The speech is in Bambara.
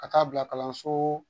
Ka taa bila kalanso